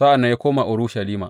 Sa’an nan ya koma Urushalima.